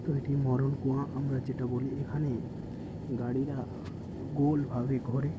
এটি মরন কুয়া আমরা যেটা বলি এখানে গাড়ি রা গোল ভাবে ঘোরে ।